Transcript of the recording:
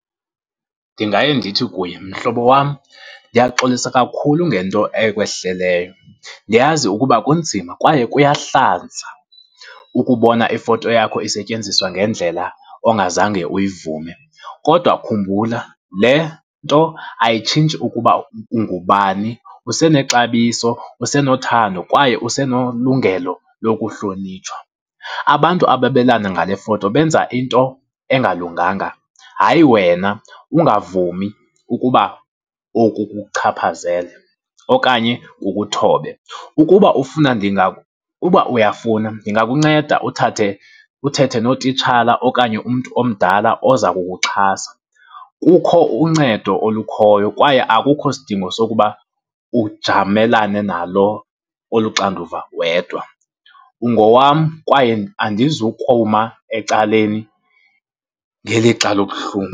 Ndingaye ndithi kuye, mhlobo wam, ndiyaxolisa kakhulu ngento ekwehleleyo. Ndiyazi ukuba kunzima kwaye kuyahlanza ukubona ifoto yakho isetyenziswa ngendlela ongazange uyivume. Kodwa khumbula le nto ayitshintshi ukuba ungubani, usenexabiso, usenothando kwaye usenolungelo lokuhlonitshwa. Abantu ababelana ngale foto benza into engalunganga, hayi wena. Ungavumi ukuba oku kukuchaphazele okanye kukuthobe. Ukuba ufuna, uba uyafuna ndingakunceda uthathe, uthethe nootitshala okanye umntu omdala oza kukuxhasa. Kukho uncedo olukhoyo kwaye akukho sidingo sokuba ujamelane nalo olu xanduva wedwa. Ungowam kwaye andizukuma ecaleni ngelixa lobuhlungu.